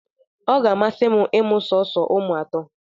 Ọ ga-amasị m ịmụ sọọsọ ụmụ atọ